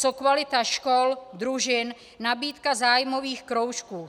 Co kvalita škol, družin, nabídka zájmových kroužků?